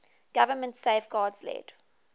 government safeguards led